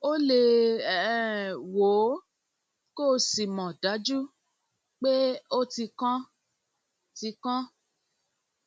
o lè um wò ó kó o sì mọ dájú pé ó ti kán ti kán